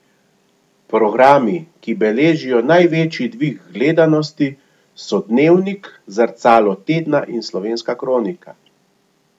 Programi, ki beležijo največji dvig gledanosti, so Dnevnik, Zrcalo tedna in Slovenska kronika.